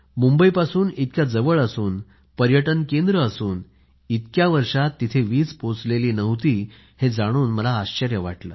मुंबईपासून इतक्या जवळ असून पर्यटनाचे केंद्र असून इतक्या वर्षात तिथे वीज पोहोचली नव्हती हे जाणून मला आश्चर्य वाटले